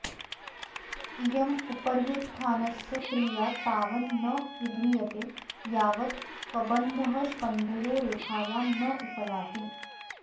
इयमुपर्युत्थानस्य क्रीया तावन्न विधीयते यावत् कबन्धः स्कन्धयो रेखायां नोपयाति